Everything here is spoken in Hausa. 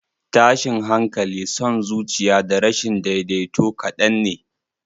Tashin hankali, son zuciya, da rashin daidaito kadan ne.